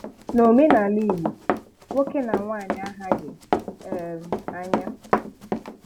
N'omenala Igbo, nwoke na nwaanyị ahaghị um anya.